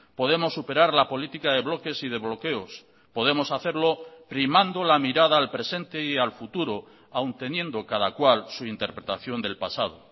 podemos superar la política de bloques y de bloqueos podemos hacerlo primando la mirada al presente y al futuro aun teniendo cada cual su interpretación del pasado